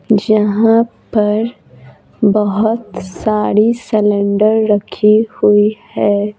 जहाँ पर बहुत सारी सिलेंडर रखे हुई है।